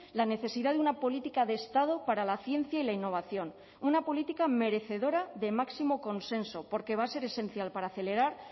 la necesidad de una política de estado para la ciencia y la innovación una política merecedora de máximo consenso porque va a ser esencial para acelerar